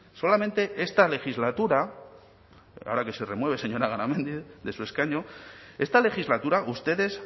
solamente esta legislatura ahora que se remueve señora garamendi de su escaño esta legislatura ustedes